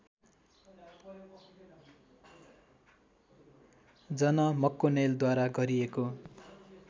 जन मक्कोनेलद्वारा गरिएको